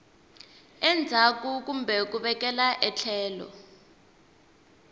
endzhaku kumbe ku vekela etlhelo